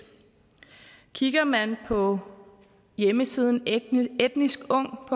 kigger man på hjemmesiden etniskungdk